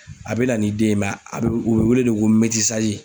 A bɛ na ni den ye a bɛ u bɛ wele ko